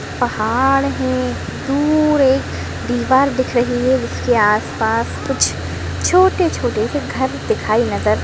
पहाड़ है दूर एक दीवार दिख रही है जिसके आसपास कुछ छोटे छोटे से घर दिखाई नजर --